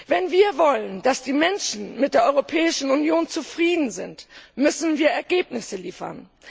Wenn wir wollen, dass die Menschen mit der Europäischen Union zufrieden sind, müssen wir Ergebnisse liefern.